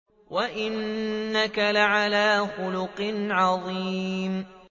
وَإِنَّكَ لَعَلَىٰ خُلُقٍ عَظِيمٍ